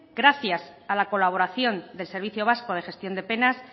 gracias a la colaboración del servicio vasco de gestión de penas